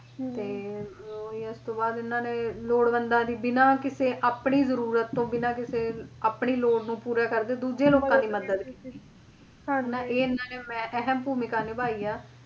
ਹੁੰ ਤੇ ਉਸਤੋਂ ਬਾਅਦ ਇਹਨਾਂ ਨੇ ਲੋੜਵੰਦਾਂ ਦੀ ਬਿਨਾਂ ਕਿਸੇ ਆਪਣੀ ਜਰੂਰਤ ਤੋਂ ਬਿਨਾਂ ਕਿਸੇ ਆਪਣੀ ਲੋੜ ਨੂੰ ਪੂਰਾ ਕਰਦੇ ਦੂਜੇ ਲੋਕਾਂ ਦੀ ਮੱਦਦ ਕੀਤੀ ਇਹਨਾਂ ਨੇ ਮਹਿ ਅਹਿਮ ਭੂਮਿਕਾ ਨਿਭਾਈ ਆ